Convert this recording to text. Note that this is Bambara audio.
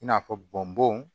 I n'a fɔ bɔnbɔn